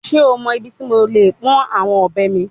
Ṣe o mọ ibiti mo le pọn awọn ọbẹ mi?